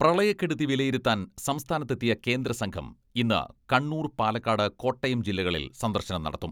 പ്രളയക്കെടുതി വിലയിരുത്താൻ സംസ്ഥാനത്തെത്തിയ കേന്ദ്രസംഘം ഇന്ന് കണ്ണൂർ, പാലക്കാട്, കോട്ടയം ജില്ലകളിൽ സന്ദർശനം നടത്തും.